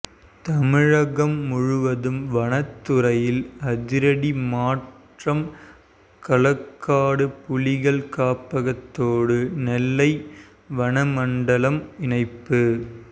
தமிழகம் முழுவதும் வனத்துறையில் அதிரடி மாற்றம் களக்காடு புலிகள் காப்பகத்தோடு நெல்லை வன மண்டலம் இணைப்பு